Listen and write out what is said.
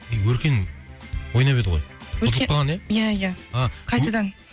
өркен ойнап еді ғой ұтылып қалған ия ия а ө қайтадан